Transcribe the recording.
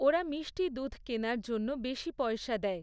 ওরা মিষ্টি দুধ কেনার জন্য বেশী পয়সা দেয়।